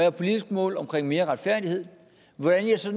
et politisk mål om mere retfærdighed hvordan jeg så